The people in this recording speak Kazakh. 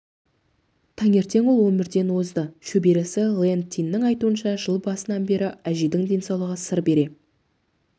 таңертең ол өмірден озды шөбересі лэн тиннің айтуынша жыл басынан бері әжейдің денсаулығы сыр бере